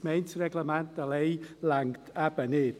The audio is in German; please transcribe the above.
Ein Gemeindereglement allein reicht eben nicht.